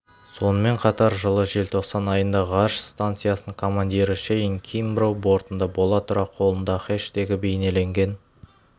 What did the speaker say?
сонымен қатар жылы желтоқсан айында ғарыш станциясының командирі шейн кимброу бортында бола тұра қолында хэштегі бейнеленген